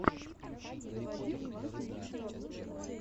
заводи классные видеообзоры